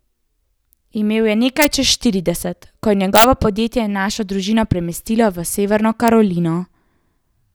Imel je nekaj čez štirideset, ko je njegovo podjetje našo družino premestilo v Severno Karolino.